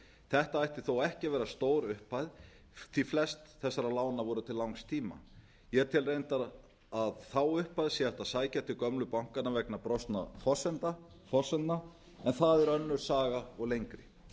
þetta ætti þó ekki að vera stór upp hæð því flest þessara lána voru til langs tíma ég tel reyndar að þá upphæð sé hægt að sækja til gömlu bankanna vegna brostinna forsendna en það er önnur saga og lengri